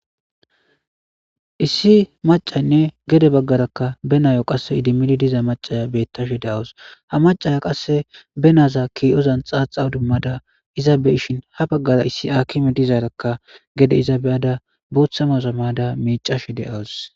Issi macaynne gede baggarakka benayo qasse idimidi diza macaya bettashe daawus ha macaya qasse benaaza kii7ozan xaaxa dummada iza be ishin ha baggara issi akime dizaarakka gede iza beyada booththamaza maada miicashe de7awus.